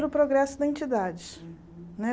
Pelo progresso da entidade né.